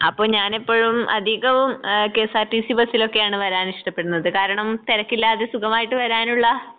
അപ്പോ ഞാനെപ്പോഴും അധികവും ആഹ് കെഎസ്ആർടിസി ബസ്സിലൊക്കെയാണ് വരാൻ ഇഷ്ടപ്പെടുന്നത് കാരണം തിരക്കില്ലാതെ സുഖമായിട്ട് വരാനുള്ള